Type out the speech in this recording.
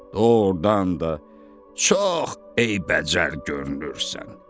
Doğrudan da çox eybəcər görünürsən.